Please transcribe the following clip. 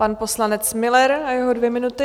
Pan poslanec Müller a jeho dvě minuty.